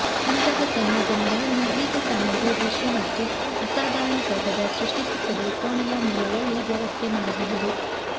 ಇಂತಹ ಸಂಯೋಜನೆಗಳನ್ನು ಹೀಗೆ ಸಣ್ಣ ಭೂದೃಶ್ಯ ಮತ್ತು ಅಸಾಧಾರಣ ತೋಟದ ಸೃಷ್ಟಿಸುತ್ತದೆ ಕೋಣೆಯ ಮೂಲೆಯಲ್ಲಿ ವ್ಯವಸ್ಥೆ ಮಾಡಬಹುದು